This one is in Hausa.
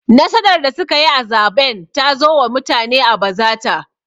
Nasarar da suka yi a zaɓen ta zo wa mutane a bazata